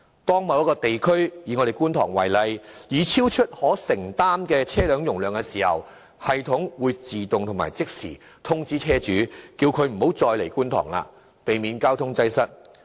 當某一地區已超出可承受車輛容量時，系統會即時自動通知車主不要駛入觀塘，避免交通擠塞。